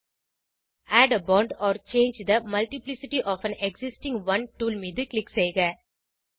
add a font or change the multiplicity of an existing one tool மீது click செய்க